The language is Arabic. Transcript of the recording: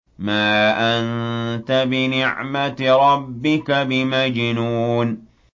مَا أَنتَ بِنِعْمَةِ رَبِّكَ بِمَجْنُونٍ